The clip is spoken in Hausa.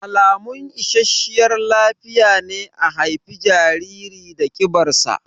Alamun isasshiyar lafiya ne a haifi jariri da ƙibar sa